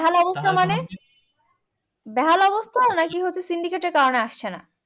বেহাল অবস্থা মানে, বেহাল অবস্থা নাকি হচ্ছে syndicate এর কারণে আসতেছেনা